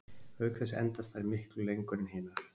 Og auk þess endast þær miklu lengur en hinar.